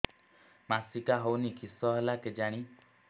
ମାସିକା ହଉନି କିଶ ହେଲା କେଜାଣି